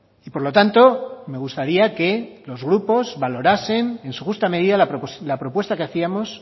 y por lo tanto me gustaría que los grupos valorasen en su justa medida la propuesta que hacíamos